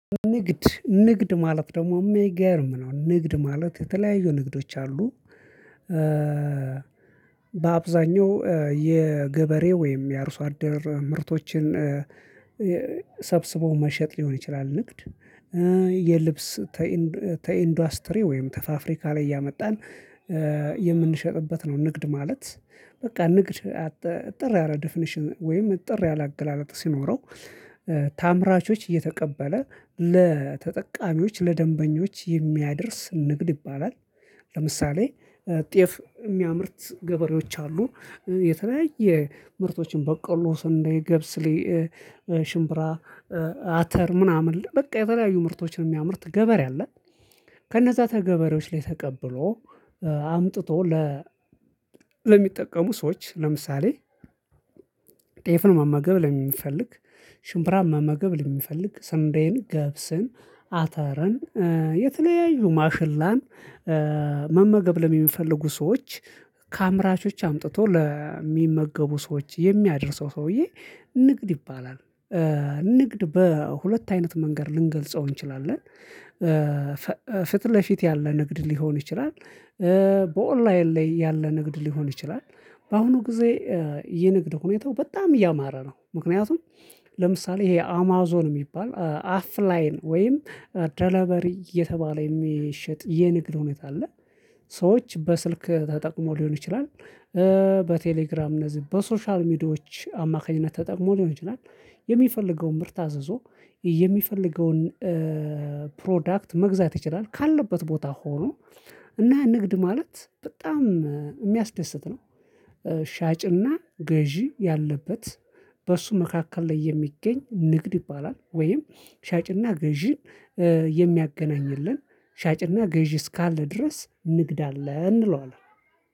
ንግድ ንግድ ማለት ደግሞ የሚገርም ነው ንግድ ማለት የተለያዩ ንግዶች አሉ በአብዛኛው የገበሬ ወይም የአርሶ አደር ምርቶችን እ የ መሸጥ ሊሆን ይችላል ንግድ የልብስ ተኢንዱስትሪ ወይም ተፋፍሪካ ላይ ያመጣን የምንሸጥበት ነው ንግድ ማለት በቃ ንግድ ጥር ያለ ዴፊኒሽን ወይም ጥር ያለ አገላለጥ ሲኖረው ተአምራቾች እየተቀበለ ለተጠቃሚዎች ለደንበኞች የሚያደርስ ንግድ ይባላል ለምሳሌ ጤፍ የሚያምርት ገበሬዎች አሉ የተለያየ ምርቶችን በቀሎ ስንዴ ገብስሌ ሽምብራ አተር ምናምን በቃ የተለያዩ ምርቶችን የሚያምርት ገበሬ አለ ከነዛ ተገበሬዎች ላይ ተቀብሎ አምጥቶ ለ ለሚጠቀሙ ሰዎች ለምሳሌ መመገብ ለሚፈልግ ሽምብራን መመገብ ለሚፈልግ ሰንደዬን ገብስን አተርን የተለያዩ ማሽላን መመገብ ለሚፈልጉ ሰዎች አምጥቶ ለሚመገቡ ሰዎች የሚያደርሰው ሰውዬ ንግድ ይባላል ንግድ በሁለት አይነት መንገድ ልንገልጸው እንችላለን ፍትህ ለፊት ያለ ንግድ ሊሆን ይችላል በኦንላይን ላይ ያለ ንግድ ሊሆን ይችላል በአሁኑ ጊዜ የንግድ ሁኔታው በጣም እያማረ ነው ምክንያቱም ለምሳሌ ይሄ አማዞን የሚባል አፍላይን ወይም ዳላበሪ እየተባለ የሚሸጥ የንግድ ሁኔታ አለ ሰዎች በስልክ ተጠቅሞ ሊሆን ይችላል በቴሌግራም እነዚህ በሶሻል ሚዲያዎች አማካኝነት ተጠቅሞ ሊሆን ይችላል። የሚፈልገውን ምርት አዘዞ የሚፈልገውን ፕሮዳክት መግዛት ይችላል ካለበት ቦታ ሆኖ እና ንግድ ማለት በጣም የሚያስደስት ነው ሻጭና ገዢ ያለበት በእሱ መካከል ላይ የሚገኝ ንግድ ይባላል ወይም ሻጭና ገዢን የሚያገናኝልን ሻጭና ገዢ እስካለ ድረስ ንግድ አለ እንለዋለን